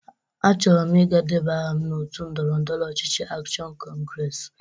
Achọrọ m iga deba aha n'otu ndọrọndọrọ ọchịchị Akshọn Kọngres.